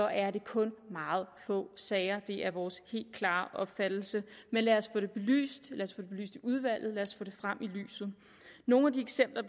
er det kun i meget få sager det er vores helt klare opfattelse men lad os få det belyst i udvalget og lad os få det frem i lyset nogle af de eksempler